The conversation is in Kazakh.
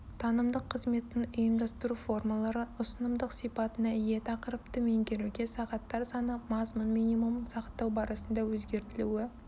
танымдық қызметтің ұйымдастыру формалары ұсынымдық сипатына ие тақырыпты меңгеруге сағаттар саны мазмұн минимумын сақтау барысында өзгертілуі